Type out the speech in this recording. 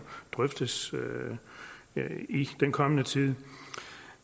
drøftes i den kommende tid